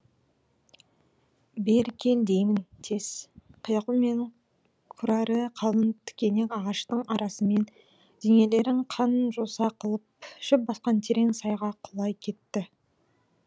бері кел деймін тез кияку мен кураре қалың тікенек ағаштың арасымен денелерін қан жоса қылып шөп басқан терең сайға құлай кетті